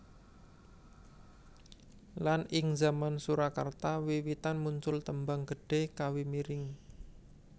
Lan ing zaman Surakarta wiwitan muncul tembang gedhé kawi miring